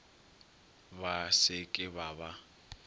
ba se ke ba ba